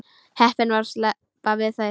Heppin að sleppa við þær.